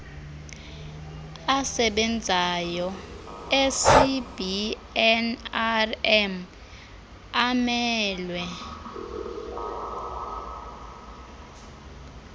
asebenzayo ecbnrm amelwe